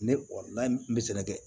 Ne n bɛ sɛnɛ kɛ